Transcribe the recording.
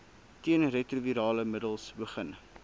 teenretrovirale middels begin